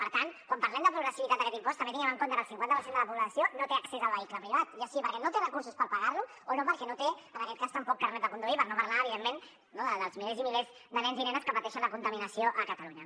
per tant quan parlem de progressivitat d’aquest impost també tinguem en compte que el cinquanta per cent de la població no té accés al vehicle privat ja sigui perquè no té recursos per pagar lo o perquè no té en aquest cas tampoc carnet de conduir per no parlar evidentment dels milers i milers de nens i nenes que pateixen la contaminació a catalunya